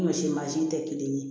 Ni ɲɔsi mansin tɛ kelen ye